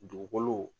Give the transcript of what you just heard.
Dugukolo